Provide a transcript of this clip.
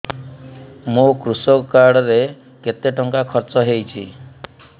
ମୋ କୃଷକ କାର୍ଡ ରେ କେତେ ଟଙ୍କା ଖର୍ଚ୍ଚ ହେଇଚି